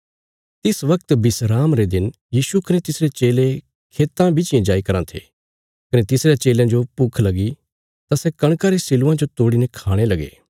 तिस बगत विस्राम रे दिन यीशु कने तिसरे चेले खेतां बिच्चियें जाई कराँ थे कने तिसरयां चेलयां जो भुख लगी तां सै कणका रे सिल्लुआं जो तोड़ीने खाणे लगे